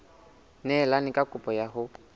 neelane ka kopo ya hao